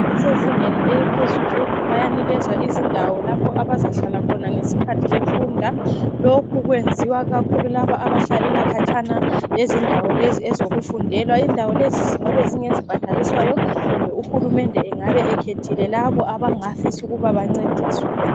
Bbasezingeni eliphezulu, bayanikezwa izindawo lapho abazahlala khona ngesikhathi befunda. Lokhu kwenziwa kakhulu laba abahlalela khatshana lezindawo lezi ezokufundelwa. Indawo lezi zingabe ngezibhadaliswayo kumbe uhulumende engabe ekhethile labo abangafisa ukuba bancediswe.